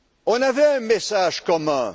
On avait un message commun.